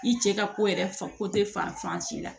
I cɛ ka ko yɛrɛ fan ko te fan fan si la